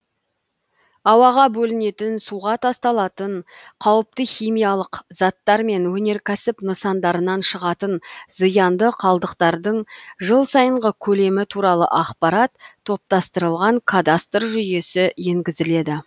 ауаға бөлінетін суға тасталатын қауіпті химиялық заттар мен өнеркәсіп нысандарынан шығатын зиянды қалдықтардың жыл сайынғы көлемі туралы ақпарат топтастырылған кадастр жүйесі енгізіледі